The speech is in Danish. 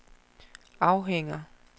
afhænger